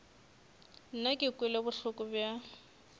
nna ke kwele bohloko bja